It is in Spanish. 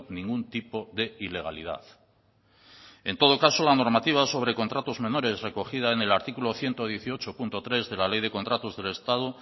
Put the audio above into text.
ningún tipo de ilegalidad en todo caso la normativa sobre contratos menores recogida en el artículo ciento dieciocho punto tres de la ley de contratos del estado